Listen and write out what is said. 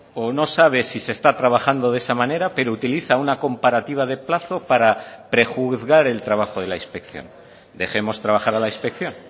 o no sabe si se está trabajando de esa manera pero utiliza una comparativa de plazo para prejuzgar el trabajo de la inspección dejemos trabajar a la inspección